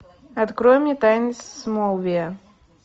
открой мне тайны смолвиля